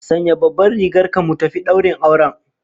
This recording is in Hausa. Sanya babban rigar ka mu tafi daurin auren